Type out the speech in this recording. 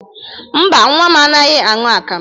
Mba, nnwa m anaghị aṅụ akamụ.